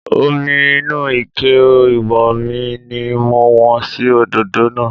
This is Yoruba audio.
Omi inú Ike ìwọ́nmi ni mo wọ́n sí òdòdó náà